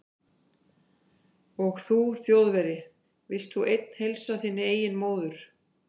Og þú Þjóðverji, vilt þú einn heilsa þinni eigin móður